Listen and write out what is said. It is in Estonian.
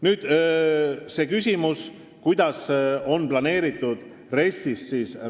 Nüüd küsimus, kuidas on see raha planeeritud RES-is.